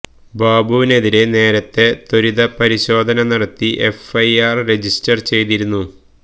ബാബുവിനെതിരെ നേരത്തെ ത്വരിതപരിശോധന നടത്തി എഫ് ഐ ആര് രജിസ്റ്റര് ചെയ്തിരുന്നു